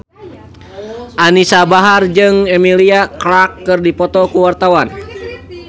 Anisa Bahar jeung Emilia Clarke keur dipoto ku wartawan